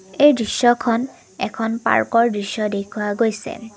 এই দৃশ্যখন এখন পাৰ্কৰ দৃশ্য দেখুওৱা গৈছে।